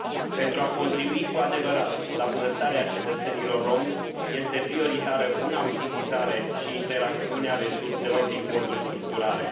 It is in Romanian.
Pentru a contribui cu adevărat la bunăstarea cetățenilor rromi este prioritară buna utilizare și interacțiune a resurselor din fonduri structurale.